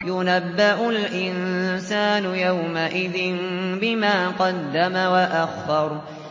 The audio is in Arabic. يُنَبَّأُ الْإِنسَانُ يَوْمَئِذٍ بِمَا قَدَّمَ وَأَخَّرَ